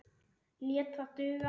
Lét það duga.